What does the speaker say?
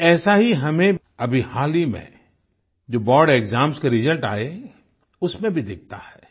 कुछ ऐसा ही हमें अभी हाल ही में जो बोर्ड एक्साम्स के रिजल्ट आये उसमें भी दिखता है